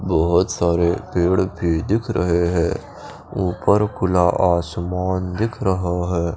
बहोत सारे पेड़ भी दिख रहे है ऊपर खुला आसमान दिख रहा है।